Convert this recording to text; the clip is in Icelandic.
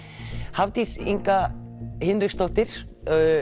Hafdís Inga Hinriksdóttir